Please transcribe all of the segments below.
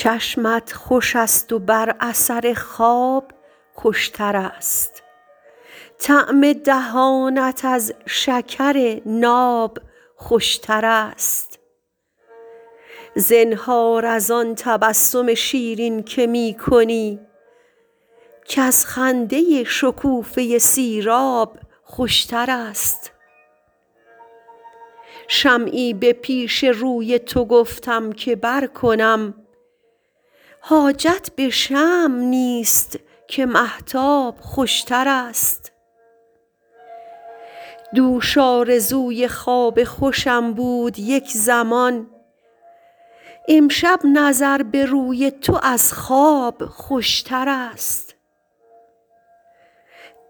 چشمت خوش است و بر اثر خواب خوش تر است طعم دهانت از شکر ناب خوش تر است زنهار از آن تبسم شیرین که می کنی کز خنده شکوفه سیراب خوش تر است شمعی به پیش روی تو گفتم که برکنم حاجت به شمع نیست که مهتاب خوش تر است دوش آرزوی خواب خوشم بود یک زمان امشب نظر به روی تو از خواب خوش تر است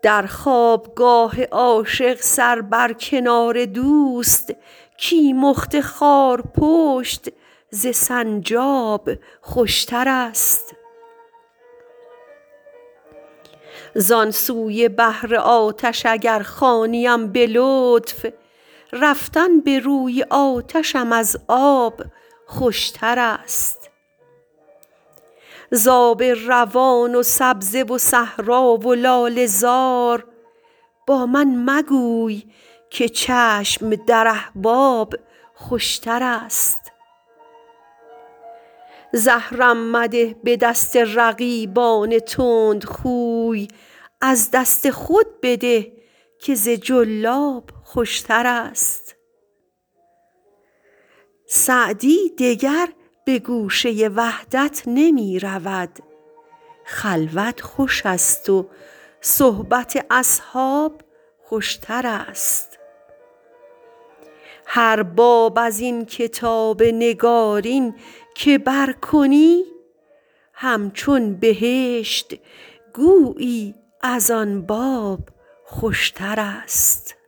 در خواب گاه عاشق سر بر کنار دوست کیمخت خارپشت ز سنجاب خوش تر است زان سوی بحر آتش اگر خوانیم به لطف رفتن به روی آتشم از آب خوش تر است ز آب روان و سبزه و صحرا و لاله زار با من مگو که چشم در احباب خوش تر است زهرم مده به دست رقیبان تندخوی از دست خود بده که ز جلاب خوش تر است سعدی دگر به گوشه وحدت نمی رود خلوت خوش است و صحبت اصحاب خوش تر است هر باب از این کتاب نگارین که برکنی همچون بهشت گویی از آن باب خوشترست